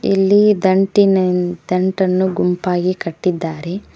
ಇಲ್ಲಿ ದಂಟಿನಿ ದಂಟನ್ನು ಗುಂಪಾಗಿ ಕಟ್ಟಿದ್ದಾರೆ.